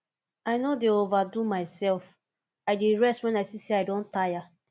i no dey overdo mysef i dey rest wen i see sey i don tire